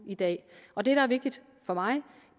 i dag og det der er vigtigt for mig